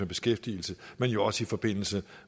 beskæftigelse men jo også i forbindelse